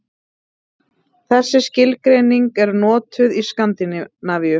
Þessi skilgreining er notuð í Skandinavíu.